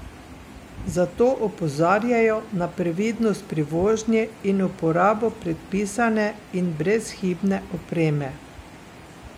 Zato opozarjajo na previdnost pri vožnji in uporabo predpisane in brezhibne opreme.